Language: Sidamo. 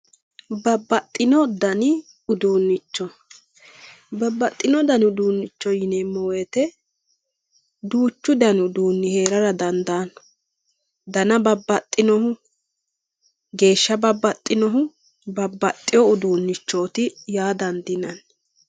Babaxino dani uduunicho babaxino dani uduunicho yineemo woyite duuchu dani uduuni heerara dandaano dana babaxinohu geesha babaxinohu babaxewu uduunichoti uaa dandinani.